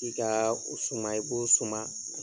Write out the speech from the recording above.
I kaa o suma i b'o suma